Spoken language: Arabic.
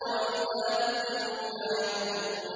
وَإِذَا ذُكِّرُوا لَا يَذْكُرُونَ